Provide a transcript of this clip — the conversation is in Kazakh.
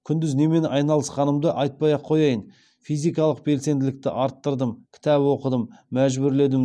күндіз немен айналысқанымды айтпай ақ қояйын физикалық белсенділікті арттырдым кітап оқыдым мәжбүрледім